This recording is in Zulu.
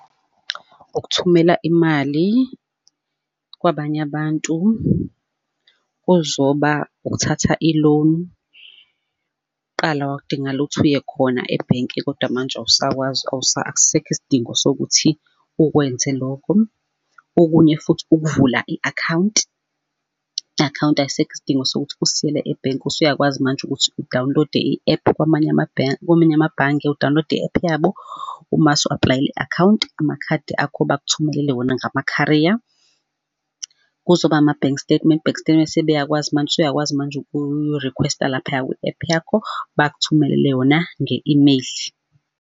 Ukuthumela imali kwabanye abantu, kuzoba ukuthatha i-loan. Kqala kwakudingakala ukuthi uye khona ebhenki kodwa manje awusakwazi akusekho isidingo sokuthi ukwenze lokho. Okunye futhi ukuvula i-account, i-account aysekho isidingo sokuthi usiyele ebhenki, usuyakwazi manje ukuthi u-download-e i-app kwamanye kwamanye amabhange u-download-e i-app yabo, umase u-aplayele i-account, amakhadi akho bakuthumelele wona ngama-courier. Kuzoba ama-bank statement, i-bank statement sebeyakwazi manje, usuyakwazi manje ukurikhwesta laphaya kwi-app yakho, bakuthumelele yona nge-email.